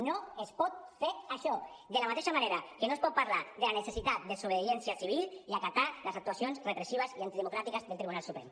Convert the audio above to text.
no es pot fer això de la mateixa manera que no es pot parlar de la necessitat de desobediència civil i acatar les actuacions repressives i antidemocràtiques del tribunal suprem